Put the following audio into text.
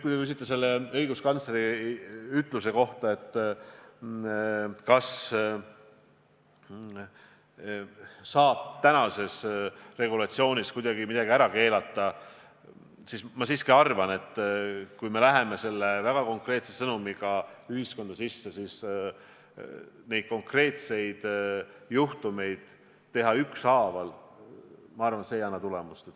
Kui te küsite õiguskantsleri ütluse kohta, et kas tänase regulatsiooni alusel saab kuidagi midagi ära keelata, siis ma arvan, et kui me läheme selle väga konkreetse sõnumiga ühiskonda sisse, siis nende konkreetsete juhtumite ükshaaval reguleerimine ei anna tulemust.